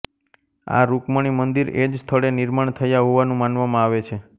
આ રૂકમણિ મંદિર એ જ સ્થળે નિર્માણ થયા હોવાનું માનવામાં આવે છે